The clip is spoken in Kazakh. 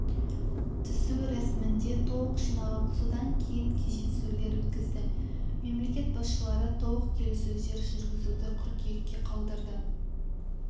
түсу рәсімінде толық жиналып содан кейін кездесулер өткізді мемлекет басшылары толық келіссөздер жүргізуді қыркүйекке қалдырды